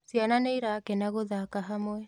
Ciana nĩirakena gũthaka hamwe